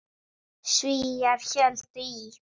Svíar héldu í